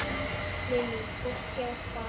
Lillý: Fólk að spara?